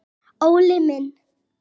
ÓLI MINN.